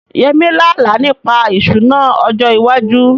Yemi lá àlá nípa ìṣúná ọjọ́ iwájú